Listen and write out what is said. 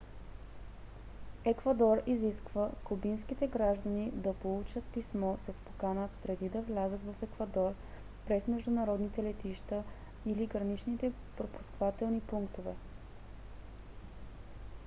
еквадор изисква кубинските граждани да получат писмо с покана преди да влязат в еквадор през международните летища или граничните пропускателни пунктове